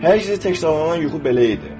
Hər gecə təkrarlanan yuxu belə idi.